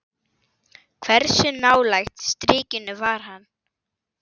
Hversu nálægt strikinu var hann?